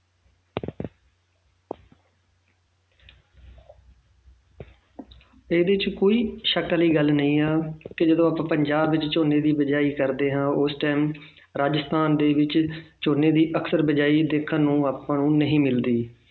ਇਹਦੇ 'ਚ ਕੋਈ ਸ਼ੱਕ ਦੀ ਗੱਲ ਨਹੀਂ ਆ ਕਿ ਜਦੋਂ ਆਪਾਂ ਪੰਜਾਬ ਵਿੱਚ ਝੋਨੇ ਦੀ ਬੀਜਾਈ ਕਰਦੇ ਹਾਂ ਤਾਂ ਉਸ time ਰਾਜਸਥਾਨ ਦੇ ਵਿੱਚ ਝੋਨੇ ਦੀ ਅਕਸਰ ਬੀਜਾਈ ਦੇਖਣ ਨੂੰ ਆਪਾਂ ਨੂੰ ਨਹੀਂ ਮਿਲਦੀ